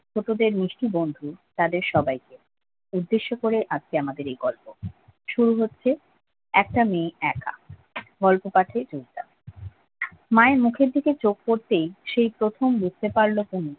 ছোটোদের মিষ্টি বন্ধু তাদের সবাইকে উদ্দেশ্য করে আজকে আমাদের এই গল্প শুরু হচ্ছে একটা মেয়ে একা গল্প মায়ের মুখের দিকে চোখ করতে সে প্রথম বুঝতে পারল পুনু